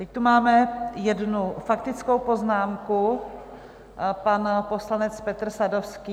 Teď tu máme jednu faktickou poznámku, pan poslanec Petr Sadovský.